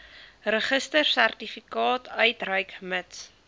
registrasiesertifikaat uitreik mits